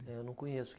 Eu não conheço.